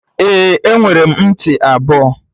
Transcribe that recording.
Ee, enwere m ntị ebọ